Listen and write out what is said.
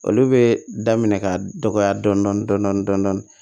Olu bɛ daminɛ ka dɔgɔya dɔɔnin dɔɔnin